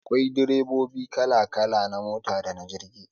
Akwai direbobi kala kala na mota dana jirgi